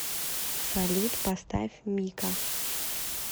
салют поставь мика